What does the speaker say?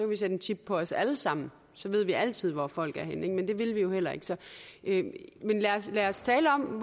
vi sætte en chip på os alle sammen så vi altid ved hvor folk er henne men det vil vi jo heller ikke ikke men lad lad os tale om